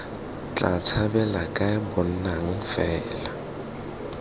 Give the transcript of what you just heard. tla tshabela kae bonang fela